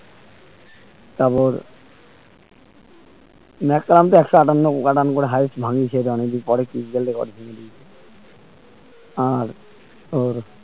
তারপর ম্যাকালাম তো একশো আটান্ন run করে highest ভাঙিয়েছে পরে ক্রিসগেল record ভেঙ্গে দিয়েছে আর তোর